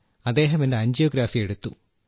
അദ്ദേഹം എന്റെ ആൻജിയോഗ്രാഫി എടുത്തു